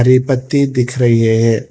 ये पत्ती दिख रही है।